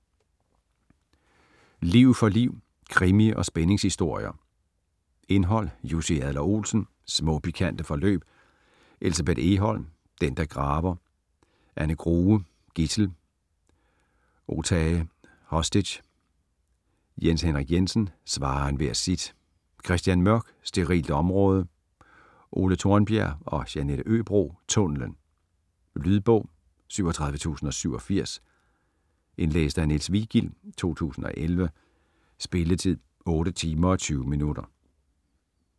Liv for liv: krimi- og spændingshistorier Indhold: Jussi Adler-Olsen: Små pikante forløb. Elsebeth Egholm: Den, der graver. Anna Grue: Gidsel.Otage.Hostage. Jens Henrik Jensen: Svare enhver sit. Christian Mørk: Sterilt område. Ole Tornbjerg & Jeanette Øbro: Tunnellen. Lydbog 37087 Indlæst af Niels Vigild, 2011. Spilletid: 8 timer, 20 minutter.